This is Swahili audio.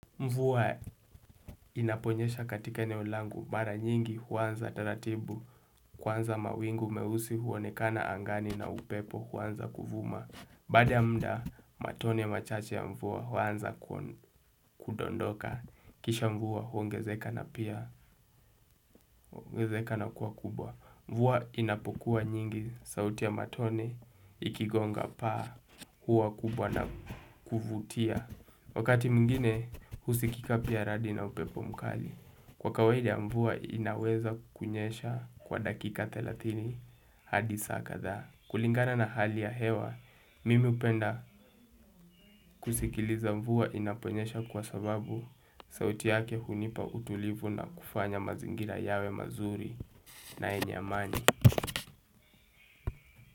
Mvua inaponyesha katika eneo langu, mara nyingi huanza taratibu, kwanza mawingu meusi huonekana angani na upepo huanza kuvuma. Baada ya mda, matone machache ya mvua huanza kudondoka. Kisha mvua huongezeka na pia huongezeka na kuwa kubwa. Mvua inapokuwa nyingi, sauti ya matone ikigonga paa huwa kubwa na kuvutia. Wakati mwigine, husikika pia radi na upepo mkali. Kwa kawaida mvua inaweza kunyesha kwa dakika thelathini hadi saa kadhaa kulingana na hali ya hewa, mimi hupenda kusikiliza mvua inaponyesha kwa sababu sauti yake hunipa utulivu na kufanya mazingira yawe mazuri na yenye amani.